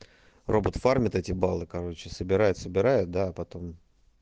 робот фармит эти баллы короче собирает собирает да а потом